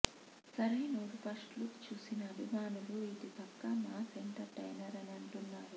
Sarainodu first look చుసిన అభిమానులు ఇది పక్కా మాస్ ఎంటర్టైనర్ అని అంటున్నారు